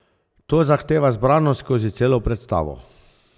To zahteva zbranost skozi celo predstavo.